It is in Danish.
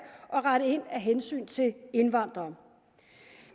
og rette ind af hensyn til indvandrere